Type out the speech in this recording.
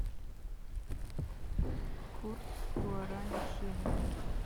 курс гуарани к шиллингу